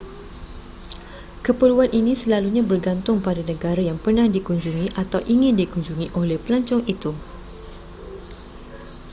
keperluan ini selalunya bergantung pada negara yang pernah dikunjungi atau ingin dikunjungi oleh pelancong itu